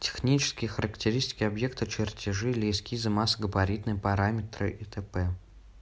технические характеристики объекта чертежи или эскизы массо-габаритные параметры и тому подобное